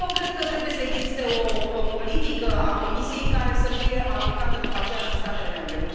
Eu cred că trebuie să existe o politică a Comisiei care să fie aplicată după aceea și în statele membre.